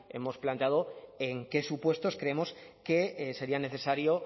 hemos planteado en qué supuestos creemos que sería necesario